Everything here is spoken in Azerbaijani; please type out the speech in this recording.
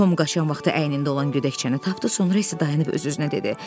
Tom qaçan vaxtı əynində olan gödəkçəni tapdı, sonra isə dayanıb öz-özünə dedi: